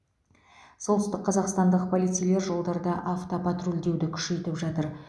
солтүстік қазақстандық полицейлер жолдарда автопатрульдеуді күшейтіп жатыр